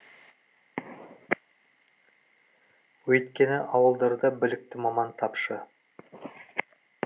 өйткені ауылдарда білікті маман тапшы